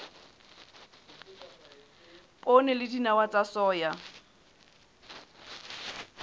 poone le dinawa tsa soya